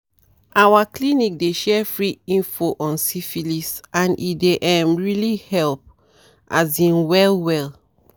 "our clinic dey share free info on syphilis and e dey um really help as in well well."